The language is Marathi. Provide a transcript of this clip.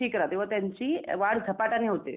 ठीक राहते व त्यांची वाढ झपाट्याने होते.